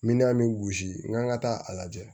Minan bɛ gosi n kan ka taa a lajɛ